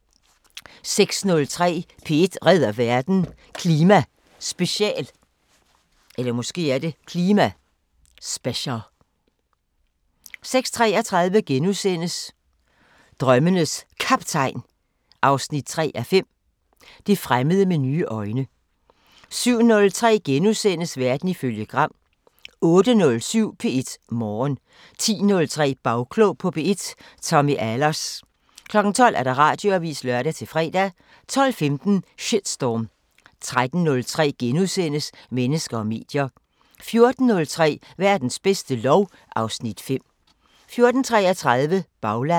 06:03: P1 redder verden: Klima special 06:33: Drømmenes Kaptajn 3:5 – Det fremmede med nye øjne * 07:03: Verden ifølge Gram * 08:07: P1 Morgen 10:03: Bagklog på P1: Tommy Ahlers 12:00: Radioavisen (lør-fre) 12:15: Shitstorm 13:03: Mennesker og medier * 14:03: Verdens bedste lov (Afs. 5) 14:33: Baglandet